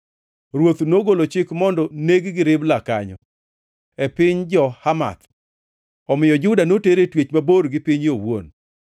Ruoth nogolo chik mondo neg-gi Ribla kanyo, e piny jo-Hamath. Omiyo Juda noter e twech mabor gi pinye owuon.